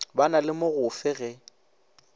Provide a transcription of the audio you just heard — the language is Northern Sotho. ba na le mogofe ge